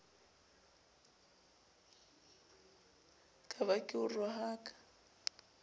ka ba ke o rohaka